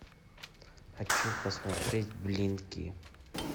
хочу посмотреть блинки